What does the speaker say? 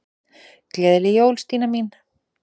Gleðileg jól, Stína mín.